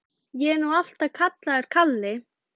Ég er nú alltaf kallaður Kalli.